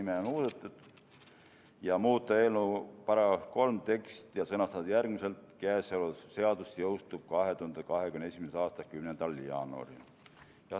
Teine muudatusettepanek on muuta eelnõu § 3 teksti ja sõnastada üks lause järgmiselt: "Käesolev seadus jõustub 2021. aasta 10. jaanuaril.